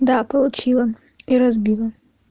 да получила и разбила